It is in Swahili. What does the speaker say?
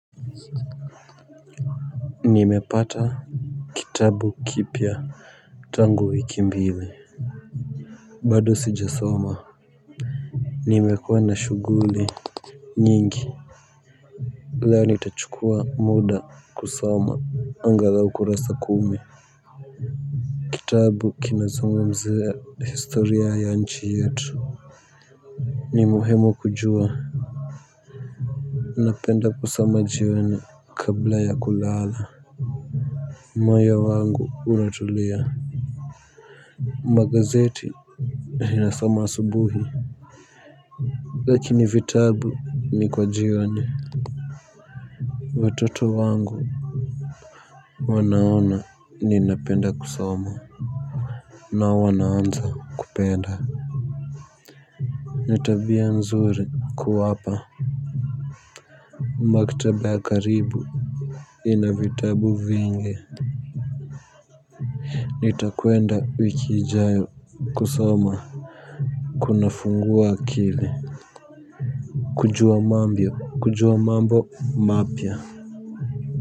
Nimepata kitabu kipya tangu wiki mbili bado sijasoma nimekuwa na shuguli nyingi leo nitachukua muda kusoma angalau kurasa kumi. Kitabu kinazungumzia historia ya nchi yetu, ni muhimu kujua napenda kusoma jioni kabla ya kulala moyo wangu unatulia magazeti ninasoma asubuhi lakini vitabu ni kwa jioni watoto wangu wanaona ninapenda kusoma na wanaanza kupenda ni tabia nzuri kuwapa maktaba ya karibu inavitabu vingi nitakwenda wiki ijayo kusoma kuna fungua akili kujua mambio kujua mambo mapya. Kwa hivyo.